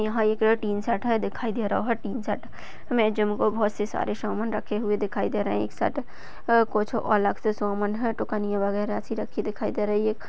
यहा एक टीशर्ट दिखाई दे रहा हुवा टीशर्ट मे जिम का बहुतसी सारे सामान रखे हुए दिखाई दे रहे है एक सेट अ कुछ अलग से है तोकण्यासी कुछ अलग से दिखाई दे रही है।